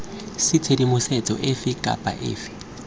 c tshedimosetso efe kana efe